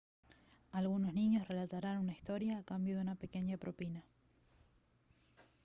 algunos niños relatarán una historia a cambio de una pequeña propina